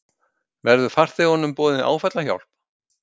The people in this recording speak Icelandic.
Verður farþegunum boðin áfallahjálp